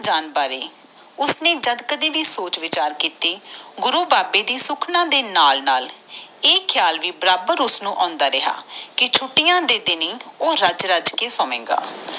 ਜਾਨ ਬਾਰੇ ਉਸ ਨੇ ਜਦ ਕਦੇ ਬ ਸੋਚ ਵਿਚਾਰ ਕੀਤੇ ਗੁਰੂ ਬਾਬੇ ਦੇ ਸੁਖਣਾ ਦੇ ਨਾਲ ਨਾਲ ਇਹ ਖਿਆਲ ਵੀ ਬਰਾਬਰ ਓਇਹਣੁ ਆਂਦਾ ਰਹਿਗੇ ਕਿ ਛੁਟੀਆਂ ਦੇ ਦਿਨ ਹੀ ਰੱਜ ਰੱਜ ਕੇ ਸੋਵੇਗਾ।